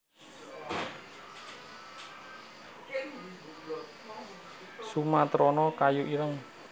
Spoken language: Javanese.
sumatrana kayu ireng